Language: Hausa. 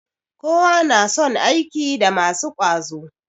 Kowa na son aiki da masu ƙwazo